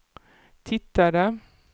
tittade